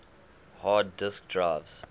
hard disk drives